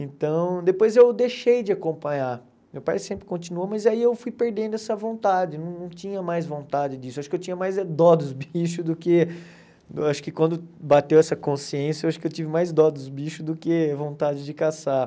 Então, depois eu deixei de acompanhar, meu pai sempre continuou, mas aí eu fui perdendo essa vontade, não tinha mais vontade disso, acho que eu tinha mais é dó dos bichos do que, acho que quando bateu essa consciência, acho que eu tive mais dó dos bichos do que vontade de caçar.